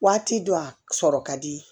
Waati dɔ a sɔrɔ ka di